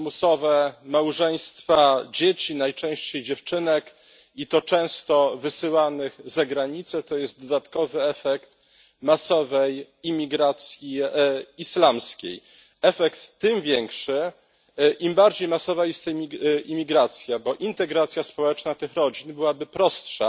Przymusowe małżeństwa dzieci, najczęściej dziewczynek, i to często wysyłanych za granicę, to jest dodatkowy efekt masowej imigracji islamskiej. Efekt tym większy, im bardziej masowa jest ta imigracja, bo integracja społeczna tych rodzin byłaby prostsza,